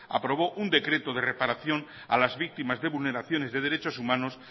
aprobó un decreto de reparación a las víctimas de vulneraciones de derechos humanos